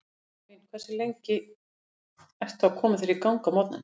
Stofan mín Hversu lengi ertu að koma þér í gang á morgnanna?